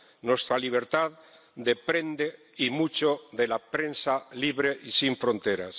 Nuestra libertad depende y mucho de la prensa libre y sin fronteras.